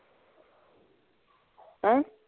ਹੈਂ?